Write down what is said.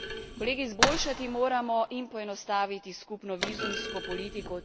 Kolegi, izboljšati moramo in poenostaviti skupno vizumsko politiko.